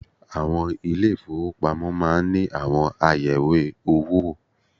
Àwọn ilé ìfowópamọ́ máa ń àwọn ayẹ̀wé owó wò